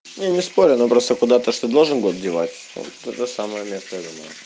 я не спорю но просто куда-то ты же должен был девать то же самое место думаю